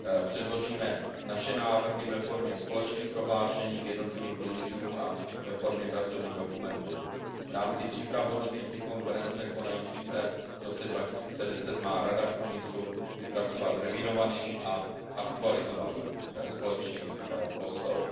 Předložíme naše návrhy ve formě společných prohlášení k jednotlivým pilířům a ve formě pracovních dokumentů. V rámci příprav hodnotící konference konající se v roce 2010 má Rada v úmyslu vypracovat revidovaný a aktualizovaný společný postoj.